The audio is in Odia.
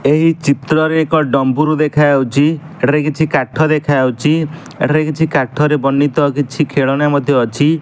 ଏହି ଚିତ୍ର ରେ ଏକ ଡମ୍ବରୁ ଦେଖାଯାଉଚି ସେଠାରେ କିଛି କାଠ ଦେଖାଯାଉଚି ଏଠାରେ କିଛି କାଠରେ ବର୍ଣ୍ଣିତ କିଛି ଖେଳଣା ମଧ୍ୟ ଅଛି।